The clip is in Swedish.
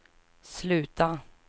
sluta